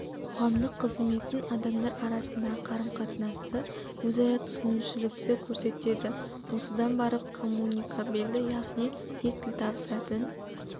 қоғамдық қызметін адамдар арасындағы қарым-қатынасты өзара түсінушілікті көрсетеді осыдан барып коммуникабельді яғни тез тіл табысатын